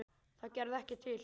Það gerði ekkert til.